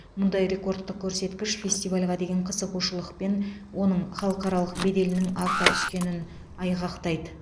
мұндай рекордтық көрсеткіш фестивальға деген қызығушылық пен оның халықаралық беделінің арта түскенін айғақтайды